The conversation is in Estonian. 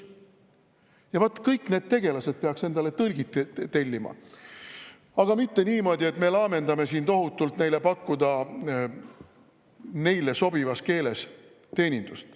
Ja vaat kõik need tegelased peaksid endale tõlgi tellima, mitte niimoodi, et me laamendame siin tohutult, et pakkuda neile teenindust neile sobivas keeles.